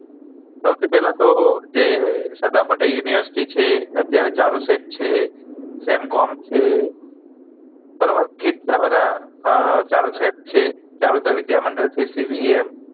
સૌથી પેહલા તો જે સરદાર પટેલ university છે અત્યારે ચાલુ છે તેમ્કોમ છે બરોબર કેટલા બધા ચાલુ ચર છે ચારુ ચર વિદ્યા મંડળ છે